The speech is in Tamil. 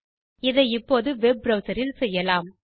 இதை இப்போது வெப் browserஇல் செய்யலாம்